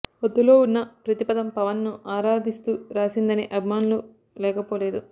అందులో ఉన్న ప్రతి పదం పవన్ ను ఆరాధిస్తూ రాసిందనే అభిమానులూ లేకపోలేదు